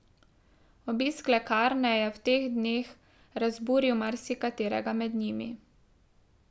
Obisk lekarne je v teh dneh dneh razburil marsikaterega med njimi.